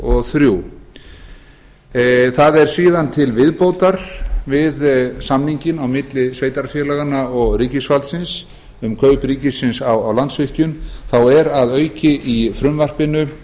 og þrjú það er síðan til viðbótar við samninginn á milli sveitarfélaganna og ríkisvaldsins um kaup ríkisins á landsvirkjun þá er að auki í frumvarpinu